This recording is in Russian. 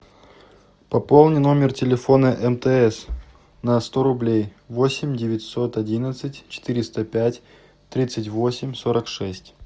пополни номер телефона мтс на сто рублей восемь девятьсот одиннадцать четыреста пять тридцать восемь сорок шесть